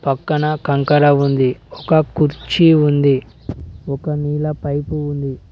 పక్కన కంకర ఉంది ఒక కుర్చీ ఉంది ఒక నీళ్ల పైపు ఉంది.